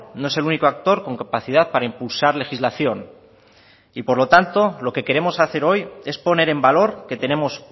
no es el único actor con capacidad para impulsar legislación y por lo tanto lo que queremos hacer hoy es poner en valor que tenemos